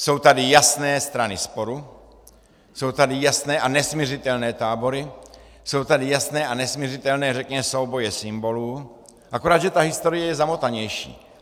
Jsou tady jasné strany sporu, jsou tady jasné a nesmiřitelné tábory, jsou tady jasné a nesmiřitelné, řekněme, souboje symbolů, akorát že ta historie je zamotanější.